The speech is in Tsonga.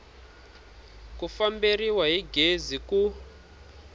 ku famberiwa hi gezi ku